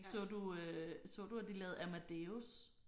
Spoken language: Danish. Så du øh så du at de lavede Amadeus?